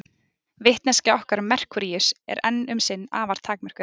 Vitneskja okkar um Merkúríus er enn um sinn afar takmörkuð.